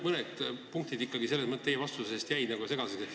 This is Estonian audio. Mõned punktid teie vastuses jäid ikkagi segaseks.